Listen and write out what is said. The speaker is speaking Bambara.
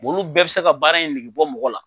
bɔn olu bɛɛ be se ka baara in nege bɔ mɔgɔ la